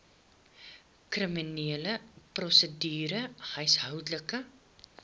kriminele prosedure huishoudelike